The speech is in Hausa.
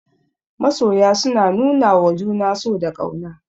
Masoya suna nuwawa juna so da ƙauna.